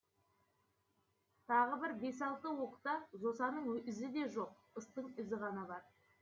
тағы бір бес алты уықта жосаның ізі де жоқ ыстың ізі ғана бар